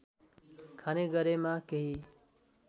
खाने गरेमा केही